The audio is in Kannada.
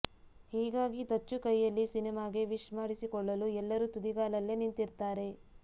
ಹೀಗಾಗಿ ದಚ್ಚು ಕೈಯಲ್ಲಿ ಸಿನಿಮಾಗೆ ವಿಶ್ ಮಾಡಿಸಿಕೊಳ್ಳಲು ಎಲ್ಲರು ತುದಿಗಾಲಲ್ಲೇ ನಿಂತಿರ್ತಾರೆ